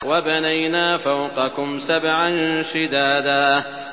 وَبَنَيْنَا فَوْقَكُمْ سَبْعًا شِدَادًا